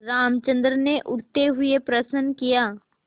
रामचंद्र ने उठते हुए प्रश्न किया